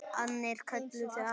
Annir kölluðu að.